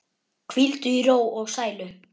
Hvíldu í ró og sælu.